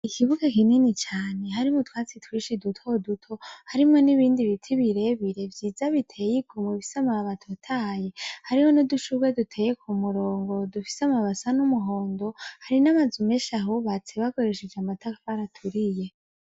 ikibuga kinini cyane hari mu twatsi twishi duto duto harimo n'ibindi biti birebire byiza biteye iku mu bise maabatotaye hariho no dushurwe duteye ku murongo dufise amabasa n'umuhondo hari n'amazume shahubatse bakoresheje amatafari baturiye.